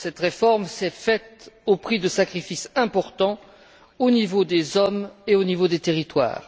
Cette réforme s'est faite au prix de sacrifices importants au niveau des hommes et au niveau des territoires.